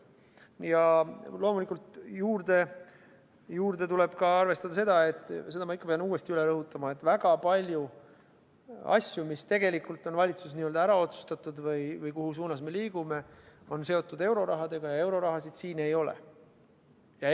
Ja loomulikult tuleb arvestada ka seda – seda pean ma ikka uuesti üle rõhutama –, et väga palju asju, mis tegelikult on valitsuses ära otsustatud, või see, kus suunas me liigume, on seotud eurorahadega, ja eurorahasid siin ei ole.